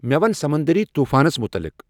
مے ون سمندری طوفانس مطلق ۔